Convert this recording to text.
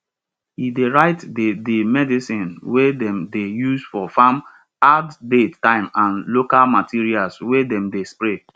e dey write di di medicine wey dem dey use for farm add date time and local materials wey dem dey spray